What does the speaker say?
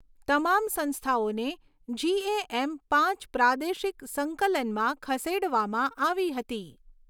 તમામ સંસ્થાઓને જીએએમ પાંચ પ્રાદેશિક સંકલનમાં ખસેડવામાં આવી હતી.